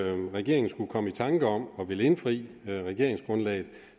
at regeringen skulle komme i tanker om at ville indfri regeringsgrundlaget